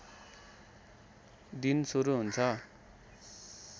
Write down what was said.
दिन सुरु हुन्छ